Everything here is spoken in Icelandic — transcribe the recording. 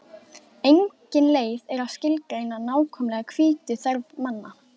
Engin leið er að skilgreina nákvæmlega hvítuþörf manna.